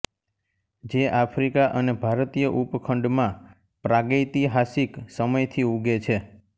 જે આફ્રિકા અને ભારતીય ઉપખંડમાં પ્રાગૈતિહાસિક સમયથી ઉગે છે